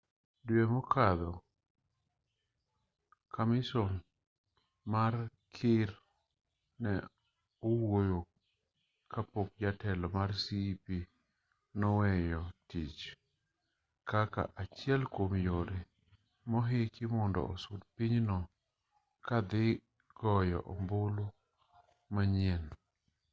due mokadho kamison mar kir ne owuoyo kapok jatelo mar cep noweyo tich kaka achiel kuom yore mohiki mondo osud pinyno ka dhi goyo ombulu manyien